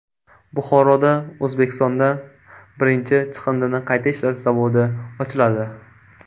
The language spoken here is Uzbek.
Buxoroda O‘zbekistonda birinchi chiqindini qayta ishlash zavodi ochiladi.